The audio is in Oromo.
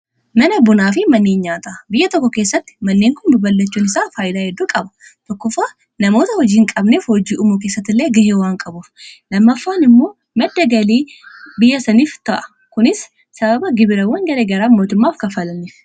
mana bunaa fi manneen nyaataa biyya tokko keessatti manneen kun babballachuun isaa faayilaa hedduu qaba tokkofa namoota hojiin qabneef hojii umu keessatillee gaheewwaan qabuuf lammaffaan immoo maddagalii biyyasaniif ta'a kunis sababa gibirawwan garee garaa mootummaaf kafalaniif